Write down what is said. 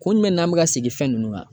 Kun jumɛn n'an bɛ ka segin fɛn nunnu kan